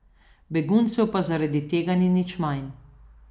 Beguncev pa zaradi tega ni nič manj.